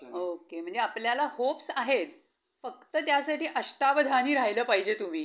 okay. म्हणजे आपल्याला hopes आहेत. फक्त त्यासाठी अष्टावधानी राहीलं पाहिजे तुम्ही.